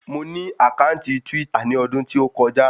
Mo ní àkáǹtì twítà ní odún tí ó kọjá